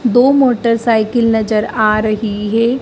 दो मोटरसाइकिल नजर आ रही है।